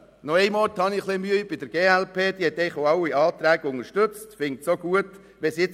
Ein bisschen Mühe habe ich mit der glpFraktion, die eigentlich auch alle Anträge unterstützt hat und diese auch gut findet.